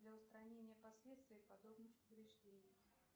для устранения последствий подобных повреждений